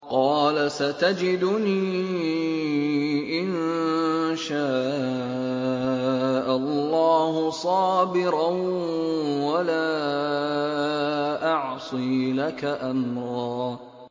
قَالَ سَتَجِدُنِي إِن شَاءَ اللَّهُ صَابِرًا وَلَا أَعْصِي لَكَ أَمْرًا